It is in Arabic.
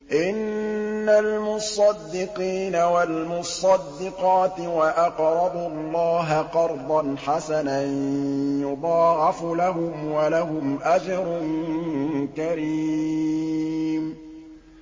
إِنَّ الْمُصَّدِّقِينَ وَالْمُصَّدِّقَاتِ وَأَقْرَضُوا اللَّهَ قَرْضًا حَسَنًا يُضَاعَفُ لَهُمْ وَلَهُمْ أَجْرٌ كَرِيمٌ